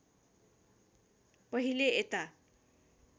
पहिले यता